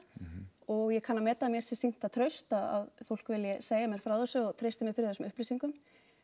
og ég kann að meta að mér sé sýnt það traust að fólk vilji segja mér frá þessu og treysti mér fyrir þessum upplýsingum